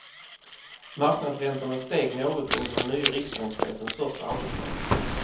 Marknadsräntorna steg något under den nye riksbankschefens första arbetsdag.